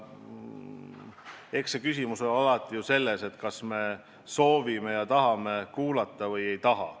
Eks küsimus ole alati selles, kas me tahame kuulata või ei taha.